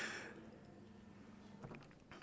og